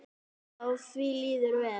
Já, því líður vel.